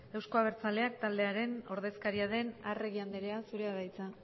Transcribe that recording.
euzko abertzaleak taldearen ordezkaria den arregi andrea zurea da hitza